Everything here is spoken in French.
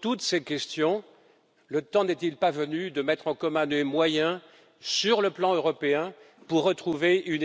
tous ces domaines, le temps n'est il pas venu de mettre en commun des moyens européens pour retrouver une réelle